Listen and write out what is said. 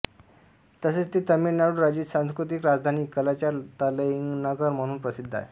तसेच ते तमिळनाडू राज्याची सांस्कृतिक राजधानी कलाच्चार तलैनगर म्हणूनही प्रसिद्ध आहे